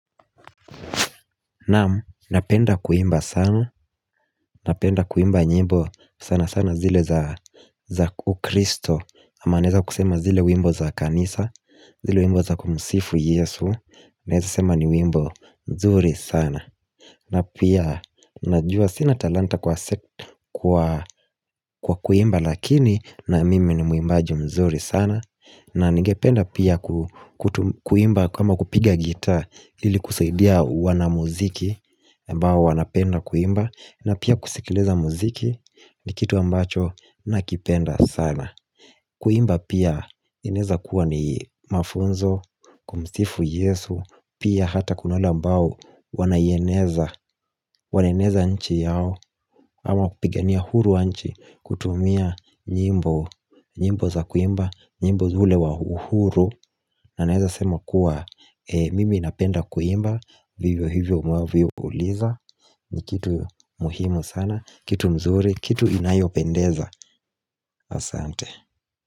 Naam napenda kuimba sana, napenda kuimba nyimbo sana sana zile za ukristo ama naeza kusema zile wimbo za kanisa, zile wimbo za kumsifu yesu Naeza sema ni wimbo mzuri sana na pia najua sina talanta kwa kuimba lakini na mimi ni mwimbaji mzuri sana na ningependa pia kuimba kama kupiga gitaa ili kusaidia wana muziki aMbao wanapenda kuimba na pia kusikiliza muziki ni kitu ambacho nakipenda sana Kuimba pia inaeza kuwa ni mafunzo kumsifu yesu Pia hata kuna wale ambao wanaieneza Wanaeneza nchi yao ama kupigania uhuru wa nchi kutumia nyimbo nyimbo za kuimba nyimbo ule wahuhuru na naeza sema kuwa Mimi napenda kuimba Vivyo hivyo mwavyo uliza ni kitu muhimu sana Kitu mzuri, kitu inayopendeza Asante.